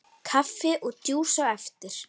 Kaffi og djús á eftir.